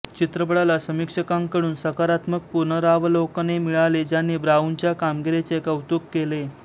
चित्रपटाला समीक्षकांकडून सकारात्मक पुनरावलोकने मिळाली ज्यांनी ब्राऊनच्या कामगिरीचे कौतुक केले